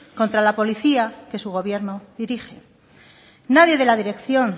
contra la policía que su gobierno dirige nadie de la dirección